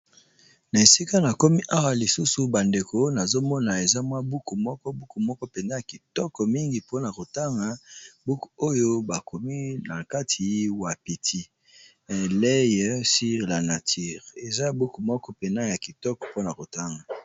Na , Esika na komi awa lisusu bandeko nazomona eza mwa buku, moko buku moko mpena ya kitoko mingi mpona kotanga ! buku oyo bakomi na kati wapiti " L'œil sur la nature" , eza buku moko pena ya kitoko mpona kotanga .